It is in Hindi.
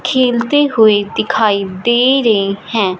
खेलते हुए दिखाई दे रहे हैं।